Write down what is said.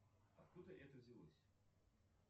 откуда это взялось